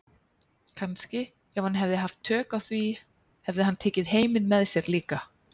Kannski ef hann hefði haft tök á því hefði hann tekið heiminn með sér líka.